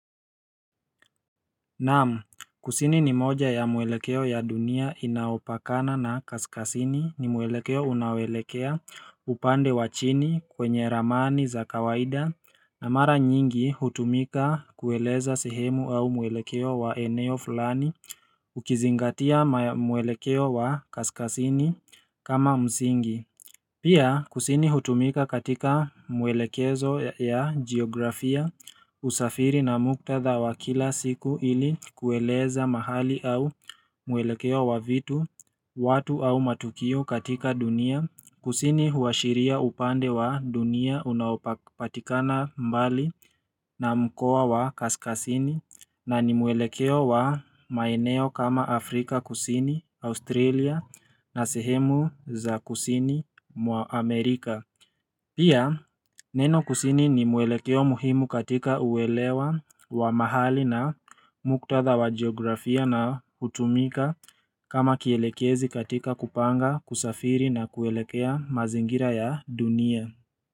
Naam kusini ni moja ya mwelekeo ya dunia inaopakana na kaskazini ni mwelekeo unaoelekea upande wa chini kwenye ramani za kawaida na mara nyingi hutumika kueleza sehemu au mwelekeo wa eneo fulani Ukizingatia mwelekeo wa kaskazini kama msingi Pia kusini hutumika katika mwelekezo ya geografia usafiri na muktadha wa kila siku ili kueleza mahali au mwelekeo wa vitu, watu au matukio katika dunia, kusini huashiria upande wa dunia unaopatikana mbali na mkoa wa kaskazini na ni mwelekeo wa maeneo kama Afrika kusini, Australia na sehemu za kusini wa Amerika Pia neno kusini ni mwelekeo muhimu katika uwelewa wa mahali na muktadha wa geografia na hutumika kama kielekezi katika kupanga kusafiri na kuelekea mazingira ya dunia.